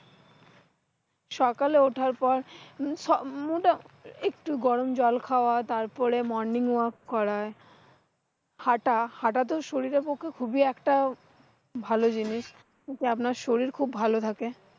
সকালে উঠার পর আহ সব মুটামুটি একটু গরম জল খাওয়া, তারপরে morning work করা। হাটা হটাতো শরীরের পক্ষে খুব একটা ভালো জিনিস, যে আপনার শরীর খুব ভালো থাকে।